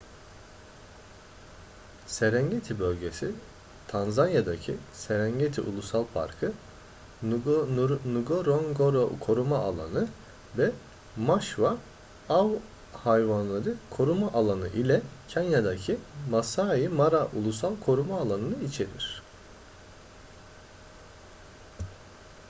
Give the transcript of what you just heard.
serengeti bölgesi tanzanya'daki serengeti ulusal parkı ngorongoro koruma alanı ve maswa av hayvanları koruma alanı ile kenya'daki masai mara ulusal koruma alanı'nı içerir